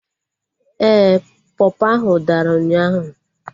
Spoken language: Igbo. Ee, pọpọ ahụ dara ụnyaahụ